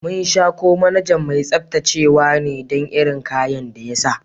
Mun sha ko manajan mai tsabtacewa ne dan irin kayan da ya sa.